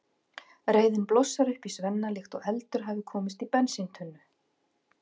Reiðin blossar upp í Svenna líkt og eldur hafi komist í bensíntunnu.